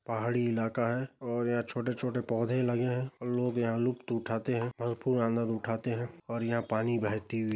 पहाड़ी इलाका है और यहाँ छोटे - छोटे पौधे लगे है लोग यहाँ लुप्त उठाते है भरपूर आंनद उठाते है और यहाँ पानी बहती हुई --